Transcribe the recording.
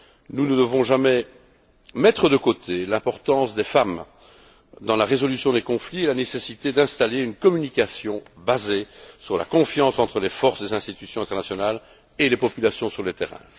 Nous ne devons jamais mettre de côté l'importance des femmes dans la résolution des conflits ni la nécessité d'installer une communication basée sur la confiance entre les forces des institutions internationales et les populations sur le terrain.